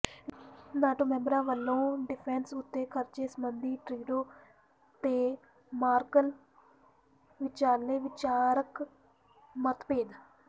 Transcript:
NATO ਮੈਂਬਰਾਂ ਵੱਲੋਂ defence ਉੱਤੇ ਖਰਚੇ ਸਬੰਧੀ ਟਰੂਡੋ ਤੇ ਮਰਕਲ ਵਿਚਾਲੇ ਵਿਚਾਰਕ ਮਤਭੇਦ